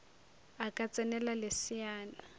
a ka ts enela leseana